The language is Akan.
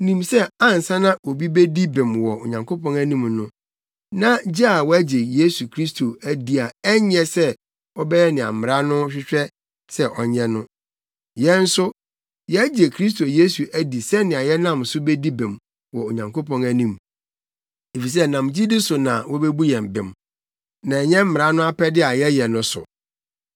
nim sɛ ansa na obi bedi bem wɔ Onyankopɔn anim no, na gye sɛ wagye Yesu Kristo adi a ɛnyɛ sɛ ɔbɛyɛ nea mmara no hwehwɛ sɛ ɔnyɛ no. Yɛn nso, yɛagye Kristo Yesu adi sɛnea yɛnam so bedi bem wɔ Onyankopɔn anim; efisɛ ɛnam gyidi so na wobebu yɛn bem, na ɛnyɛ mmara no apɛde a yɛyɛ no so.